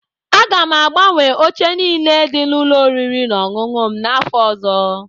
Aga m agbanwe oche niile dị n'ụlọ oriri na ọṅụṅụ m n'afọ ọzọ.